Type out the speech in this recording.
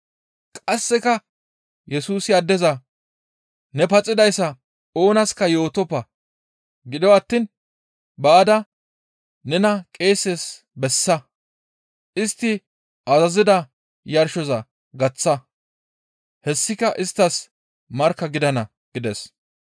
Qasseka Yesusi addeza, «Ne paxidayssa oonaska yootoppa; gido attiin baada nena qeeses bessa. Istti azazida yarshoza gaththa; hessika isttas markka gidana» gides.